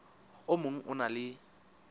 o mong o na le